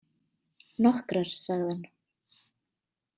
Nokkrar, sagði hann.